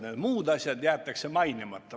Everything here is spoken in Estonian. Need muud asjad jäetakse mainimata.